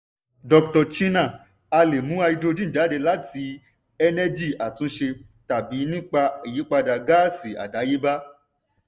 dr chinnan: a lè mú háídírójìn jáde láti ẹ́nẹ́gì àtúnṣe tàbí nípa ìyípadà gáàsì àdáyébá.